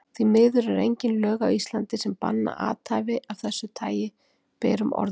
Því miður eru engin lög á Íslandi, sem banna athæfi af þessu tagi berum orðum.